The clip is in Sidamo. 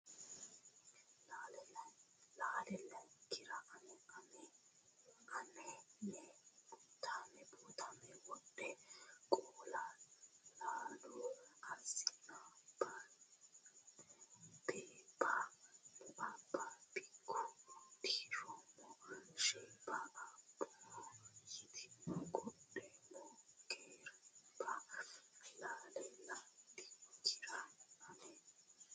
Lale landikkira Anni ne buutaami Wodha qallo lalu Asseennae beebba mu abbikkira Uddi roomma sheebba Abboho yitooti Qodhoomma ge reebba Lale landikkira Anni ne.